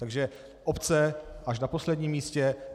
Takže obce až na posledním místě.